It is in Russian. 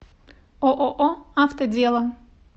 ооо автодело